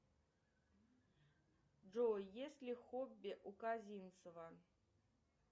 джой есть ли хобби у козинцева